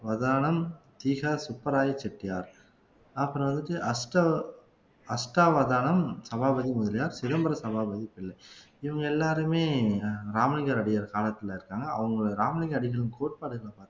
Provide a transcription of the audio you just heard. வதானம் திகார் சுப்பராய செட்டியார் அப்புறம் வந்துட்டு அஷ்ட அஷ்ட அவதாரம் சபாபதி முதலியார் சிதம்பர சபாபதி பிள்ளை இவங்க எல்லாருமே அஹ் ராமலிங்க அடியார் காலத்துல இருக்காங்க அவங்க ராமலிங்க அடிகளின் கோட்பாடுகளை